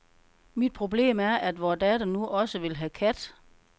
Mit problem er, at vor datter nu også vil have kat.